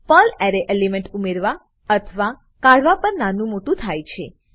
Perl array element ઉમેરવા અથવા કાઢવા પર નાનું મોટું થાય છે